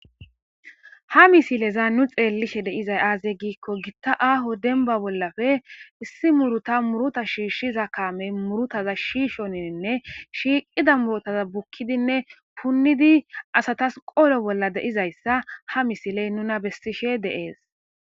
ha misileza nu xeellishe deizay aaze giikko gitta aaho denba bollafe issi muruta muruta shiishshiza kaamey murutaza shiishoninne shiiqida murotaza bukkidinne punnidi asatas qolo bolla deizayssa ha misiley nuna bessishe deees